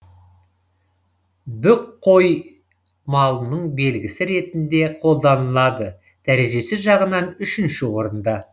бүк қой малының белгісі ретінде қолданылады дәрежесі жағынан үшінші орында